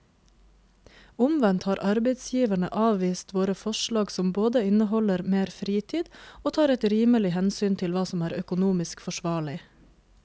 Omvendt har arbeidsgiverne avvist våre forslag som både inneholder mer fritid og tar et rimelig hensyn til hva som er økonomisk forsvarlig.